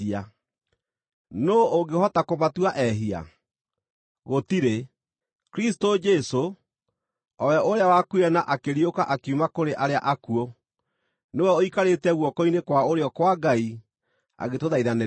Nũũ ũngĩhota kũmatua ehia? Gũtirĩ! Kristũ Jesũ, o we ũrĩa wakuire, na akĩriũka akiuma kũrĩ arĩa akuũ, nĩwe ũikarĩte guoko-inĩ kwa ũrĩo kwa Ngai agĩtũthaithanĩrĩra.